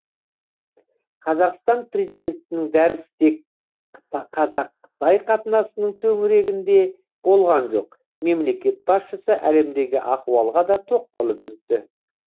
қазақстан президентінің дәрісі тек қазақ қытай қатынасының төңірегінде болған жоқ мемлекет басшысы әлемдегі ахуалға да тоқталып өтті